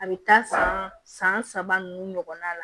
A bɛ taa san san saba nunnu na